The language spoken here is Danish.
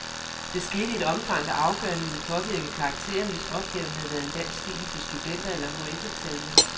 Det skete i et omfang, der afgørende ville påvirke karakteren, hvis opgaven havde været en dansk stil til studenter- eller hf-eksamen.